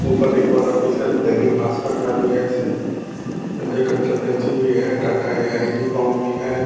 ऊपर एक और ऑफिस है। दैनिक भास्कर का भी है। ऐसे संजय कंसल्टेंसी भी है। टाटा ऐ.आई.जी. कोम भी है।